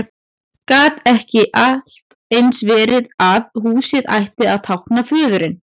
Gat ekki allt eins verið að húsið ætti að tákna föðurinn?